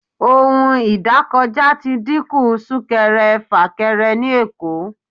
ohún idakojá tí díkun sunkẹrẹ-fakẹrẹ ni Èko